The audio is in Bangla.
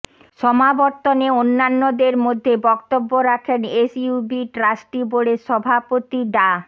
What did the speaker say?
সমাবর্তনে অন্যান্যদের মধ্যে বক্তব্য রাখেন এসইউবি ট্রাস্টি বোর্ডের সভাপতি ডা